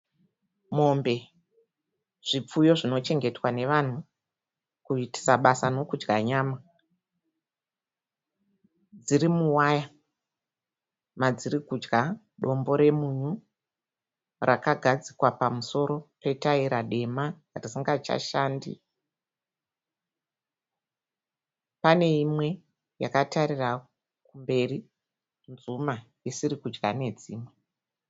Mombe zvipfuyo zvinochengetwa nevanhu kuitisa basa nekudya nyama. Dziri muwaya madziri kudya dombo remunyu rakagadzikwa pamusoro petaira dema risingachashandi. Pane imwe yakatarira kumberi nzuma isiri kudya nedzimwe.